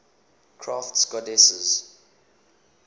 crafts goddesses